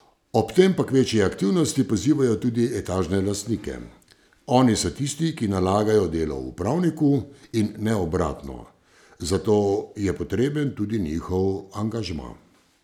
Ob tem pa k večji aktivnosti pozivajo tudi etažne lastnike: ''Oni so tisti, ki nalagajo delo upravniku in ne obratno, zato je potreben tudi njihov angažma.